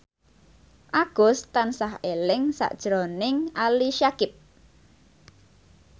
Agus tansah eling sakjroning Ali Syakieb